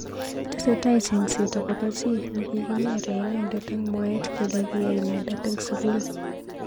Tesetai chengset akobo chi nekikinyere inendet eng mwaet kele kiyai inendet�eng�sukul.